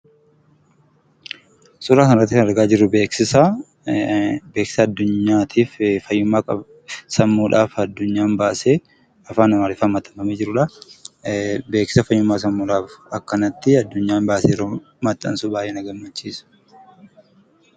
Suuraa kanarratti kan argaa jirtu beeksiisa yoo ta'u, beeksiisa adduunyaatiif fayyumma qabu, sammuudhaaf addunyaan baase afaan amariiffatiin maxxanfamee jirudha. beeksiisa fayyuummaa sammuudhaf addunyaan akkanatti baase yeroo maxxansu baay'ee na gammachisa.